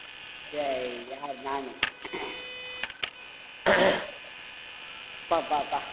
டேய் யார் நானு அப்பப்பா